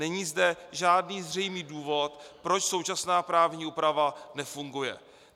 Není zde žádný zřejmý důvod, proč současná právní úprava nefunguje.